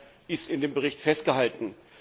Auch das ist in dem Bericht festgehalten.